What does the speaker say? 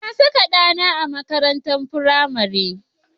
Na saka ɗana a makarantar firamare.